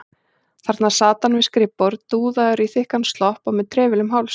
Þarna sat hann við skrifborð, dúðaður í þykkan slopp og með trefil um hálsinn.